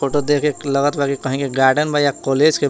ऊ त देख के लगत बा कि कही के गार्डन बा या कॉलेज के बा।